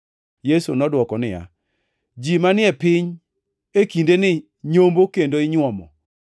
Yesu nodwoko niya, “Ji manie piny e kindeni nyombo kendo inyuomo.